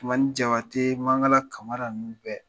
Tumani Jabate, Mankala Kamara nunnu bɛɛ.